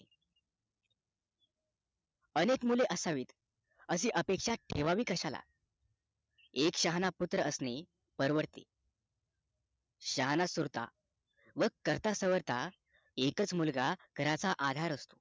अनेक मुले असावी अशी अपेक्षा ठेवावी तरी कशाला एक शहाणा पुत्र असलेला परवडते शहाणा सुरता व करता सावरता एक च मुलगा घराचा आधार असतो